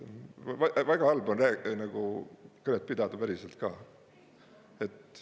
Väga halb on nagu kõnet pidada päriselt ka.